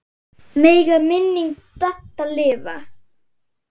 Megi minning Dadda lifa.